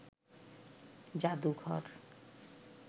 জাদুঘর